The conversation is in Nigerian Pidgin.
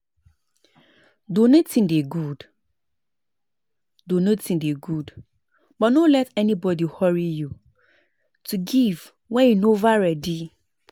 donating dey good donating dey good but no let anybody hurry you to give wen you nova ready